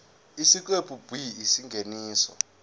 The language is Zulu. isiqephu b isingeniso